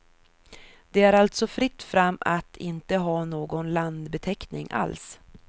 Det är alltså fritt fram att inte ha någon landbeteckning alls.